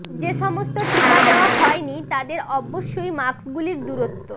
যে সমস্ত টিকা দেওয়া হয়নি তাদের অবশ্যই মাস্কগুলির দূরত্ব